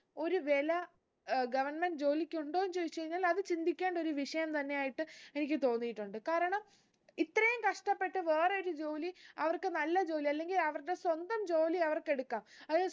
ഒരു വില ഏർ government ജോലിക്കുണ്ടോന്ന് ചോയ്ച്ചഴിഞ്ഞാൽ അത് ചിന്തിക്കേണ്ട ഒരു വിഷയം തന്നെയായിട്ട് എനിക്ക് തോന്നീട്ടുണ്ട് കാരണം ഇത്രയും കഷ്ടപ്പെട്ട് വേറൊരു ജോലി അവർക്ക് നല്ല ജോലി അല്ലെങ്കിൽ അവര്ടെ സ്വന്തം ജോലി അവര്‍ക്ക് എടുക്കാം അതായത്